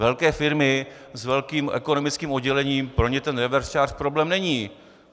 Velké firmy s velkým ekonomickým oddělením, pro ně ten reverse charge problém není.